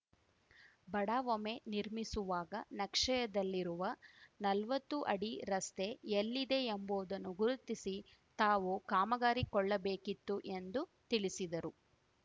ಬಡಾವಮೆ ನಿರ್ಮಿಸುವಾಗ ನಕ್ಷೆಯದಲ್ಲಿರುವ ನಲ್ವತ್ತು ಅಡಿ ರಸ್ತೆ ಎಲ್ಲಿದೆಯೆಂಬುದನ್ನು ಗುರುತಿಸಿ ತಾವು ಕಾಮಗಾರಿ ಕೊಳ್ಳಬೇಕಿತ್ತು ಎಂದು ತಿಳಿಸಿದರು